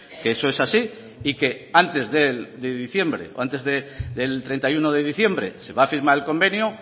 que eso es así y que antes de diciembre o antes del treinta y uno de diciembre se va a firmar el convenio